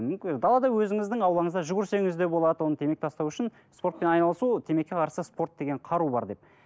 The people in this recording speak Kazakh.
далада өзіңіздің аулаңызда жүгірсеңіз де болады оны темекі тастау үшін спортпен айналысу ол темекіге қарсы спорт деген қару бар деп